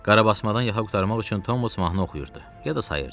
Qarabasmadan yaxa qurtarmaq üçün Thomas mahnı oxuyurdu ya da sayırdı.